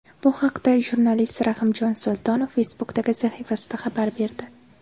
Bu haqda jurnalist Rahimjon Sultonov Facebook’dagi sahifasida xabar berdi .